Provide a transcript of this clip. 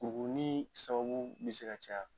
U ni sababu bɛ se ka caya.